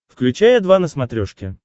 включай о два на смотрешке